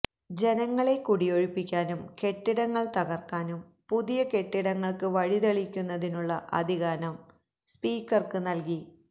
ജനങ്ങളെ കുടിയൊഴിപ്പിക്കാനും കെട്ടിടങ്ങൾ തകർക്കാനും പുതിയ കെട്ടിടങ്ങൾക്ക് വഴിതെളിക്കുന്നതിനുള്ള അധികാരം സ്പീക്കർക്ക് നൽകി